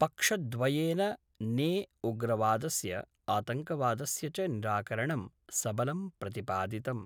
पक्षद्वयेन ने उग्रवादस्य आतंकवादस्य च निराकरणं सबलं प्रतिपादितम्।